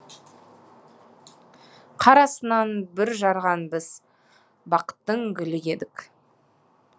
қар астынан бүр жарған біз бақыттың гүлі едік